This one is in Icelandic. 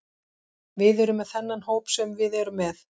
Við erum með þennan hóp sem við erum með.